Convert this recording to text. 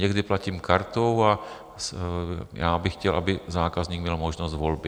Někdy platím kartou a já bych chtěl, aby zákazník měl možnost volby.